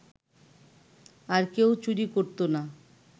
আর কেউ চুরি করত না